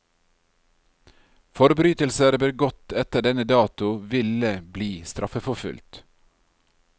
Forbrytelser begått etter denne dato ville bli straffeforfulgt.